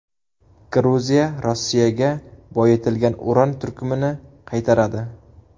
Gruziya Rossiyaga boyitilgan uran turkumini qaytaradi.